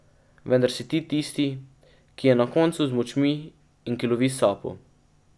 Vendar si ti tisti, ki je na koncu z močmi in ki lovi sapo.